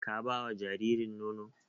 Ka ba wa jaririn nono?